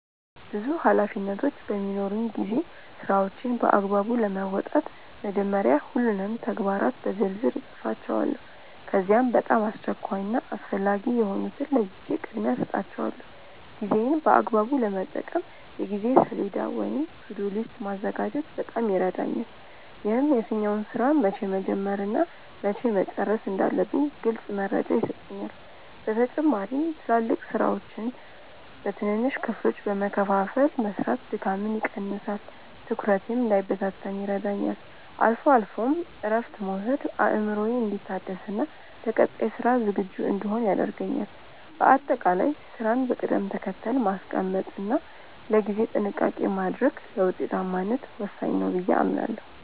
ብዙ ኃላፊነቶች በሚኖሩኝ ጊዜ ስራዎቼን በአግባቡ ለመወጣት መጀመሪያ ሁሉንም ተግባራት በዝርዝር እጽፋቸዋለሁ። ከዚያም በጣም አስቸኳይ እና አስፈላጊ የሆኑትን ለይቼ ቅድሚያ እሰጣቸዋለሁ። ጊዜዬን በአግባቡ ለመጠቀም የጊዜ ሰሌዳ ወይም "To-do list" ማዘጋጀት በጣም ይረዳኛል። ይህም የትኛውን ስራ መቼ መጀመር እና መቼ መጨረስ እንዳለብኝ ግልጽ መረጃ ይሰጠኛል። በተጨማሪም ትላልቅ ስራዎችን በትንንሽ ክፍሎች በመከፋፈል መስራት ድካምን ይቀንሳል፤ ትኩረቴም እንዳይበታተን ይረዳኛል። አልፎ አልፎም እረፍት መውሰድ አእምሮዬ እንዲታደስና ለቀጣይ ስራ ዝግጁ እንድሆን ያደርገኛል። በአጠቃላይ ስራን በቅደም ተከተል ማስቀመጥ እና ለጊዜ ጥንቃቄ ማድረግ ለውጤታማነት ወሳኝ ነው ብዬ አምናለሁ።